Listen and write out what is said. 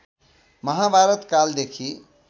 महाभारत कालदेखि